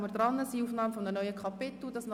Die Fraktionen haben das Wort;